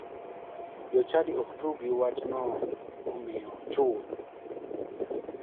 Jochadi ok tug gi wachno omiyo ochul.